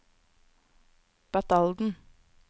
Batalden